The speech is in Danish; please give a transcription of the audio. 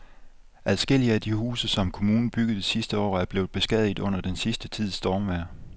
Adskillige af de huse, som kommunen byggede sidste år, er blevet beskadiget under den sidste tids stormvejr.